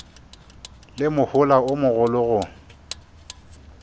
le mohola o mogolo go